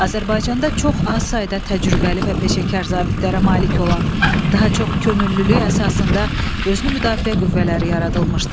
Azərbaycanda çox az sayda təcrübəli və peşəkar zabitlərə malik olan, daha çox könüllülük əsasında özünü müdafiə qüvvələri yaradılmışdı.